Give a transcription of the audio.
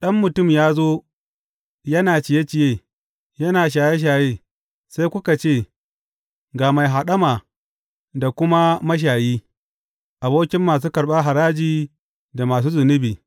Ɗan Mutum ya zo yana ciye ciye, yana shaye shaye, sai suka ce, Ga mai haɗama da kuma mashayi, abokin masu karɓar haraji da masu zunubi.’